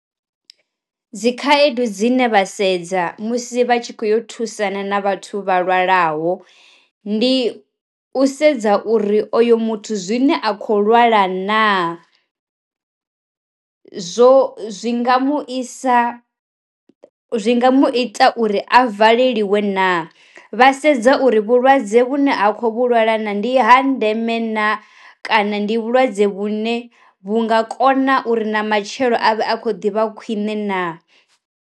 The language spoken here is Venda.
Dzi khaedu dzine vha sedza musi vha tshi kho yo thusana na vhathu vha lwalaho, ndi u sedza uri oyo muthu zwine a kho lwala na zwo zwi nga mu isa zwi nga mu ita uri a valeliwe na, vha sedza uri vhulwadze vhune ha khou lwala na ndi ha ndeme na kana ndi vhulwadze vhune vhu nga kona uri na matshelo avhe akho ḓivha khwiṋe na.